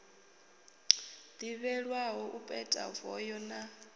ḓivhelwaho u peta voho na